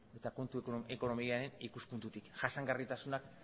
eta kontu ekonomikoaren ikuspuntutik jasangarritasunak